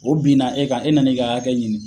U binna e ka, e nana i ka hakɛ ɲini.